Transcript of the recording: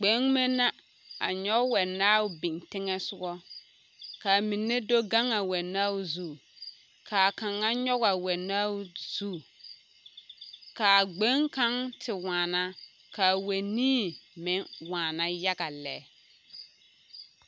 Nobɔ la a kya moɔva kyɛnɛ dɔbɔ pɔɔ ane bibiire a yɛre woore a gɛrɛ ba nimitooreŋ dɔbɔ mine arɛɛ be kaa dɔbɔ meŋ puoriŋ ka a be a be a nobɔ naŋ tu a kyɛnɛ gɛrɛ.